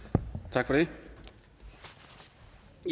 tak for det vi